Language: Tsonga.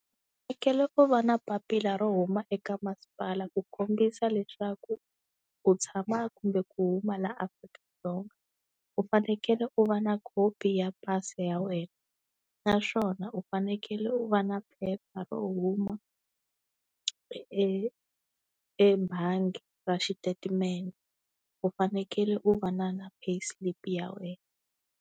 Fanekele u va na papila ro huma eka masipala ku kombisa leswaku u tshama kumbe ku huma laha Afrika-Dzonga. U fanekele u va na khopi ya pasi ya wena, naswona u fanekele u va na phepha ro huma e ebangi ra xitatimende, u fanekele u va na na pay slip ya wena.